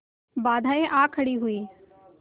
बाधाऍं आ खड़ी हुई